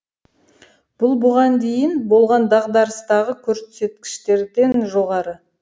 бұл бұған дейін болған дағдарыстағы көрсеткіштерден жоғары